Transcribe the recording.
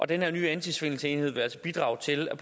den her nye antisvindelsenhed vil altså bidrage til at